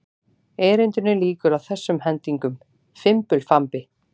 Erindinu lýkur á þessum hendingum: Fimbulfambi